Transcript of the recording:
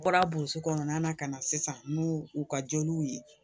U bɔra burusi kɔnɔna na ka na sisan n'u u ka joliw ye